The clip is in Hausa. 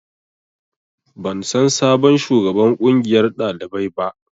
Ban san sabon shugaban ƙungiyar ɗalibai ba